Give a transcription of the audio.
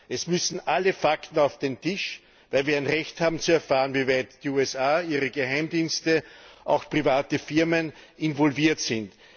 Es müssen alle Fakten auf den Tisch, weil wir ein Recht haben, zu erfahren, wieweit die USA, ihre Geheimdienste, auch private Firmen involviert sind.